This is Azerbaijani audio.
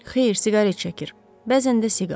Xeyr, siqaret çəkir, bəzən də siqar.